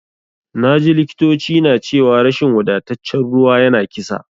Naji likitoci na cewa rashin wadataccen ruwa yana kisa.